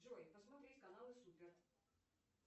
джой посмотреть каналы супер